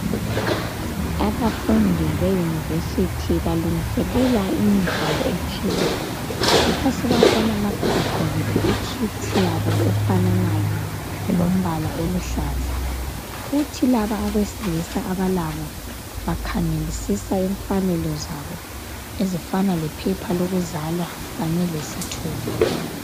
Abafundi beuniversity balungiselela umdlalo othile yikho siyabona lapha begqokile ikit yabo efananayo elombala ohlukileyo , oluhlaza kuthi laba abesilisa bakhangela umfanekiso wabo onjengamaphepha okuzalwa.